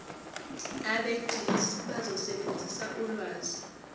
abegcis bazosebenzisa ulwazi